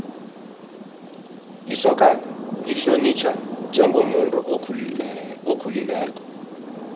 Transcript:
isokana lihlonitjhwa njengomuntu okhulileko